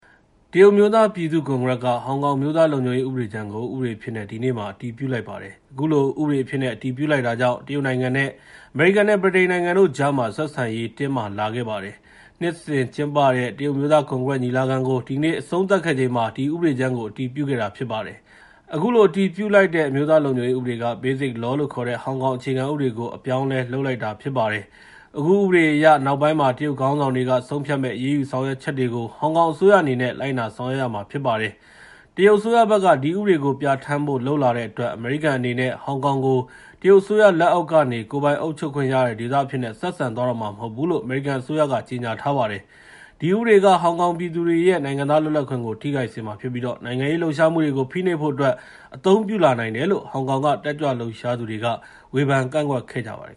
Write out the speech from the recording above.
တရုတ်အမျိုးသားပြည်သူ့ကွန်ဂရက်က ဟောင်ကောင် အမျိုးသားလုံခြုံရေးဥပဒေကြမ်းကို ဥပဒေအဖြစ်နဲ့ ဒီနေ့မှာ အတည်ပြုလိုက်ပါတယ်။ အခုလို ဥပဒေအဖြစ်နဲ့ အတည်ပြုလိုက်တာကြောင့် တရုတ်နိုင်ငံနဲ့ အမေရိကန်၊ ဗြိတိန်နိုင်ငံတို့ကြားမှာ ဆက်ဆံရေး တင်းမာလာပါတယ်။ နှစ်စဉ်ကျင်းပတဲ့ တရုတ် အမျိုးသားကွန်ဂရက်ရဲ့ ညီလာခံကို ဒီကနေ့အဆုံးသတ်ခဲ့ချိန်မှာ ဒီဥပဒေကြမ်းကို အတည်ပြုခဲ့တာဖြစ်ပါတယ်။ အခုအတည်ပြုလိုက်တဲ့ အမျိုးသားလုံခြုံရေးဥပဒေက Basic Law လို့ခေါ်တဲ့ ဟောင်ကောင် အခြေခံဥပဒေကို အပြောင်းအလဲ လုပ်လိုက်တာပါပဲ။ အခုဥပဒေအရ နောက်ပိုင်းမှာ တရုတ်ခေါင်းဆောင်တွေက ဆုံးဖြတ်မယ့် အရေးယူဆောင်ရွက်ချက်တွေကို ဟောင်ကောင်အစိုးရအနေနဲ့ လိုက်နာဆောင်ရွက်ရမှာဖြစ်ပါတယ်။ တရုတ်အစိုးရဘက်က ဒီဥပဒေကိုပြဌာန်းဖို့ လုပ်လာတဲ့အတွက် အမေရိကန်အနေနဲ့ ဟောင်ကောင်ကို တရုတ်အစိုးရလက်အောက်ကနေ ကိုယ်ပိုင်အုပ်ချုပ်ခွင့်ရတဲ့ဒေသအဖြစ်နဲ့ ဆက်ဆံသွားတော့မှာ မဟုတ်ဘူးလို့ အမေရိကန်အစိုးရက ကြေငြာထားပါတယ်။ ဒီဥပဒေက ဟောင်ကောင်ပြည်သူတွေရဲ့ နိုင်ငံသားလွတ်လပ်ခွင့်ကို ထိခိုက်စေမှာဖြစ်ပြီး နိုင်ငံရေးလှုပ်ရှားမှုတွေကို ဖိနှိပ်ဖို့အတွက် အသုံးပြုလာနိုင်တယ်လို့ ဟောင်ကောင်က တက်ကြွလှုပ်ရှားသူတွေက ဝေဖန် ကန့်ကွက်ကြပါတယ်